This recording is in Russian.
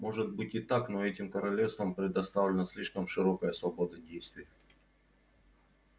может быть и так но этим королевствам предоставлена слишком широкая свобода действий